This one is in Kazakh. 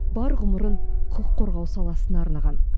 бар ғұмырын құқық қорғау саласына арнаған